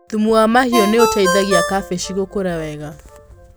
Thumu wa mahiũ nĩ ũteithagia kabici gũkũra wega.